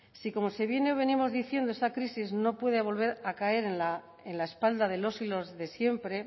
si como se viene o venimos diciendo esta crisis no puede volver a caer la en la espalda de los y las de siempre